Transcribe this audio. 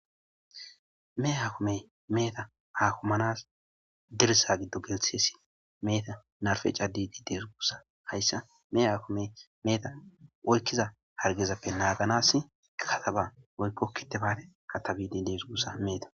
Mehe akimey meheta akimanas dirththa giddon gelthisi meheta narfen cadiidi dees guusa hayssa mehe akimey meheta oyqiza hargezappe naaganas kataba woykko kitibate katabidi dees guusa meheta.